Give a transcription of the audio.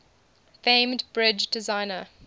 famed bridge designer